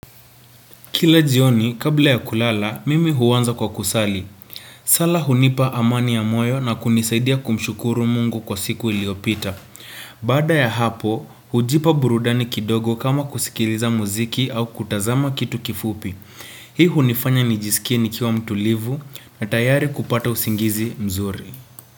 Kila jioni, kabla ya kulala, mimi huaanza kwa kusali. Sala hunipa amani ya moyo na kunisaidia kumshukuru mungu kwa siku iliopita. Bada ya hapo, hujipa burudani kidogo kama kusikiliza muziki au kutazama kitu kifupi. Hii hunifanya nijisikie nikiwa mtulivu na tayari kupata usingizi mzuri.